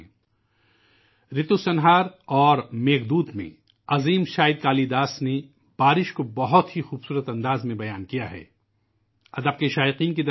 'رِتو سنہار' اور 'میگھ دوت' میں، عظیم شاعر کالی داس نے خوبصورت انداز میں بارشوں کے بارے میں بیان کیا ہے